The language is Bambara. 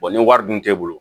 ni wari dun t'e bolo